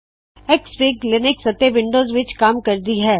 XFIG Linux ਅਤੇ Windows ਵਿੱਚ ਕੰਮ ਕਰਦੀ ਹੈ